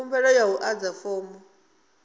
khumbelo nga u adza fomo